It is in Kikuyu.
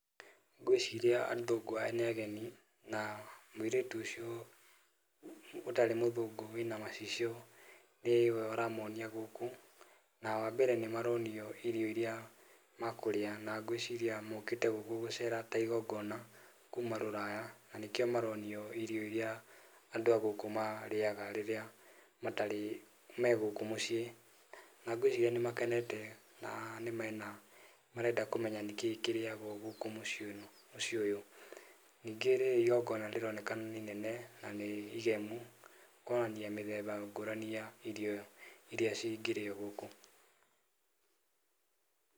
Ngwĩciria athũngũ aya nĩ ageni na mũirĩtu ũcio ũtarĩ mũthũngũ wĩna macicio nĩwe ũramonia gũkũ, na wa mbere nĩ maronio irio irĩa makũrĩa. Na ngwĩciria mokĩte gũkũ gũcera kuma rũraya nĩkĩo maronio irio irĩa andũ agũkũ marĩaga megũkũ mũciĩ. Na ngwĩciria nĩ makenete na marenda kũmenya nĩkĩĩ kĩrĩagwo gũkũ mũciĩ ũyũ. Ningĩ rĩrĩa igongona rĩronekana nĩ inene, na nĩ igemu, kwonania mĩthemba ya irio cingĩrĩo gũkũ.